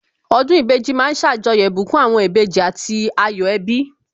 Ọdún ìbejì ma ń ṣàjọyọ̀ ìbùkún àwọn ìbejì àti ayọ̀ ẹbí